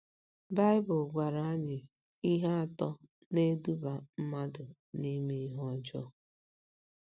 Baịbụl gwara anyị ihe atọ na - eduba mmadụ n’ime ihe ọjọọ.